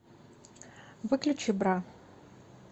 выключи бра